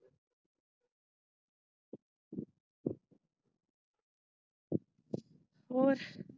ਹੋਰ?